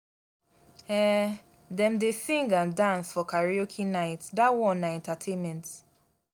um dem dey sing and dance for karaoke night dat one na entertainment.